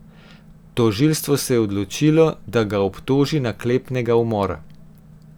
Tožilstvo se je odločilo, da ga obtoži naklepnega umora.